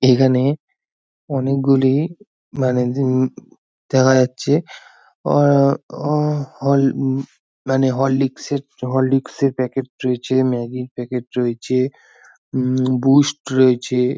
এখানে অনেকগুলি ম্যাগাজিন দেখা যাচ্ছে অ অহ হল অম মানে হরলিস্ক এর হরলিস্ক এর প্যাকেট রয়েছে ম্যাগি - এর প্যাকেট রয়েছে অম বুস্ট রয়েছে--